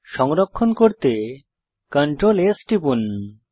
সংরক্ষণ করতে Ctrl S টিপুন